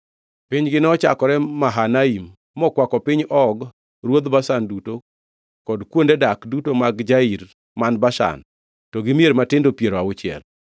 Pinygi nochakore Mahanaim, mokwako piny Og ruodh Bashan duto kod kuonde dak duto mag Jair man Bashan, to gi mier matindo piero auchiel,